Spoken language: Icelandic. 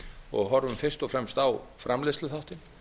og horfum fyrst og fremst á framleiðsluþáttinn